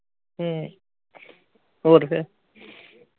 ਹਮ ਹੋਰ ਫਿਰ